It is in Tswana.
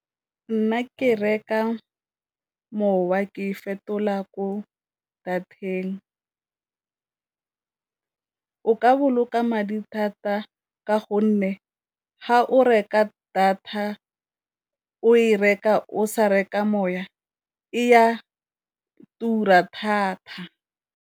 Nna ke reka mowa ke e fetola ko data-teng, o ka boloka madi thata ka gonne ga o reka data o e reka o sa reka moya e ya tura thata.